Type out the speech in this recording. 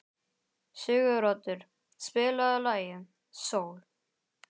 Siguroddur, spilaðu lagið „Sól“.